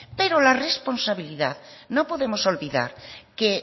pero la responsabilidad no podemos olvidar que